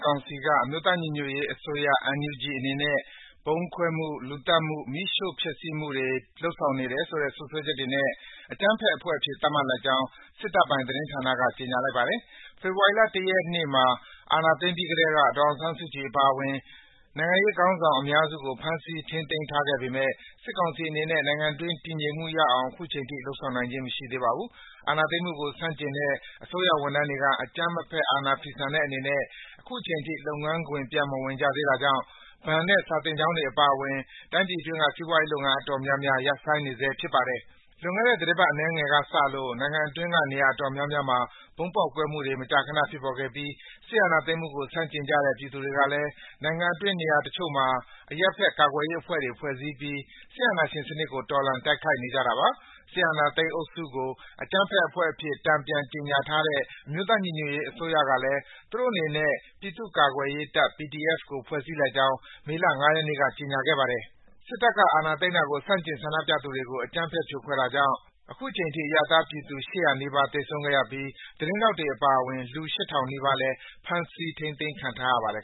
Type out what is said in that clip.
ကောင်စီက အမျိုးသားညီညွတ်ရေးအစိုးရ (NUG) အနေနဲ့ ဗုံးခွဲမှု၊ လူသတ်မှု၊ မီးရှို့ဖျက်ဆီးမှုတွေ လုပ်ဆောင်ခဲ့တယ်ဆိုတဲ့ စွပ်စွဲချက်တွေနဲ့ အကြမ်းဖက်အဖွဲ့အဖြစ် သတ်မှတ်လိုက်ကြောင်း စစ်တပ်ပိုင် သတင်းဌာနက ကြေညာလိုက်ပါတယ်။ ဖေဖော်ဝါရီလ ၁ ရက်နေ့မှာ အာဏာသိမ်းပြီးကတည်းက ဒေါ်အောင်ဆန်းစုကြည် အပါအဝင် နိုင်ငံရေးခေါင်းဆောင် အများစုကို ဖမ်းဆီးထိန်းသိမ်းခဲ့ပေမယ့် စစ်ကောင်စီအနေနဲ့ နိုင်ငံအတွင်း တည်ငြိမ်မှုရအောင် အခုချိန်ထိ လုပ်ဆောင်နိုင်ခြင်း မရှိသေးပါဘူး။ အာဏာသိမ်းမှုကို ဆန့်ကျင်တဲ့ အစိုးရဝန်ထမ်းတွေက အကြမ်းမဖက် အာဏာဖီဆန်တဲ့အနေနဲ့ အခုချိန်ထိ လုပ်ငန်းခွင် ပြန်မဝင်ကြသေးတာကြောင့် ဘဏ်နဲ့ စာသင်ကျောင်းတွေ အပါအဝင် တိုင်းပြည်အတွင်းက စီးပွားရေးလုပ်ငန်း အတော်တော်များများ ရပ်ဆိုင်းနေဆဲ ဖြစ်ပါတယ်။ လွန်ခဲ့တဲ့ သီတင်းပတ် အနည်းငယ်ကစလို့ နိုင်ငံအတွင်းက နေရာအတော်များများမှာ ဗုံးပေါက်ကွဲမှုတွေ မကြာခန ဖြစ်ပေါ်ခဲ့ပြီး စစ်အာဏာသိမ်းမှုကို ဆန့်ကျင်ကြတဲ့ ပြည်သူတွေကလည်း နိုင်ငံအတွင်း နေရာတချို့မှာ အရပ်ဘက် ကာကွယ်ရေးအဖွဲ့တွေ ဖွဲ့စည်းပြီး စစ်အာဏာရှင်စနစ်ကို တော်လှန် တိုက်ခိုက်နေကြတာပါ။ အာဏာသိမ်းစစ်အုပ်စုကို အကြမ်းဖက်အဖွဲ့အဖြစ် တန်ပြန် ကြေညာထားတဲ့ အမျိုးသားညီညွတ်ရေးအစိုးရကလည်း သူတို့အနေနဲ့ ပြည်သူ့ကာကွယ်ရေးတပ် (PDF) ကို ဖွဲ့စည်းလိုက်ကြောင်း မေလ ၅ ရက်နေ့က ကြေညာခဲ့ပါတယ်။ စစ်တပ်က အာဏာသိမ်းတာကို ဆန့်ကျင်ဆန္ဒပြသူတွေကို အကြမ်းဖက် ဖြိုခွဲခဲ့တာကြောင့် အခုချိန်ထိ အရပ်သားပြည်သူ ၈၀၀ နီးပါး သေဆုံးခဲ့ရပြီး သတင်းထောက်တွေ အပါအဝင် လူ ၈,၀၀၀ နီးပါးလည်း ဖမ်းဆီး ထိန်းသိမ်းခံထားရပါတယ်